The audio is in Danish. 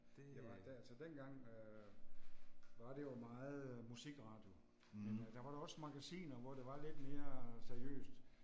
Ja var da altså dengang øh var det jo meget øh musikradio. Men øh der var da også magasiner hvor det var lidt mere seriøst